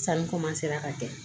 Sanu ka kɛ